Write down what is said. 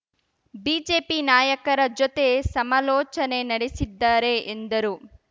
BJP ನಾಯಕರ ಜೊತೆ ಸಮಾಲೋಚನೆ ನಡೆಸಿದ್ದಾರೆ ಎಂದರು